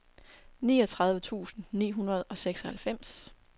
niogtredive tusind ni hundrede og seksoghalvfems